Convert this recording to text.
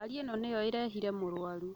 Ngari ĩno nĩyo ĩrehire mũrwaru